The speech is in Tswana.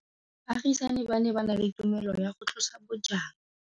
Baagisani ba ne ba na le tumalanô ya go tlosa bojang.